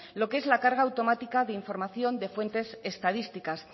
lo que es la carga automática de información de fuentes estadísticas